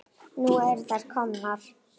Nú eru þær komnar.